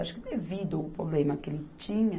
Acho que devido ao problema que ele tinha.